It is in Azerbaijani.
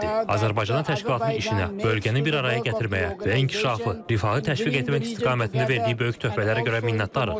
Azərbaycana təşkilatının işinə, bölgəni bir araya gətirməyə və inkişafı, rifahı təşviq etmək istiqamətində verdiyi böyük töhfələrə görə minnətdarıq.